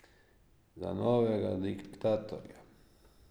Za novega diktatorja.